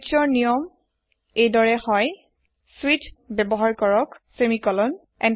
স্বিচ ৰ নিয়ম এই দৰে হয়ঃ স্বিচ ব্যৱহাৰ কৰক সেমিকোলন